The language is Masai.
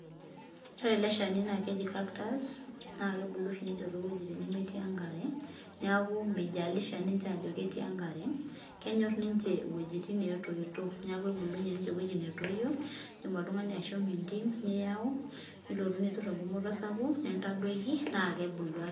Ore ele shani naa keji. Cactus naa kebulu oshi ninche toowuejitin nemetii enkare neeku meijalisha ninche aajo ketii enkare kenyor ninche iwejitin naatoito indiim oltung'ani ashomo entim niiyau nilotu nitur engumoto sapuk nintadoiki naa kebulu ake.